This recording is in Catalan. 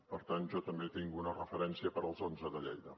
per tant jo també tinc una referència per als onze de lleida